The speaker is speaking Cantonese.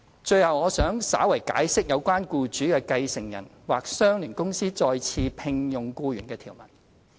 最後，我想稍為解釋有關僱主的繼承人或相聯公司再次聘用僱員的條文。